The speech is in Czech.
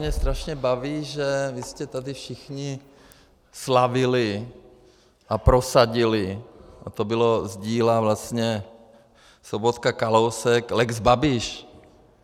Mě strašně baví, že vy jste tady všichni slavili a prosadili, a to bylo z díla vlastně Sobotka-Kalousek, lex Babiš.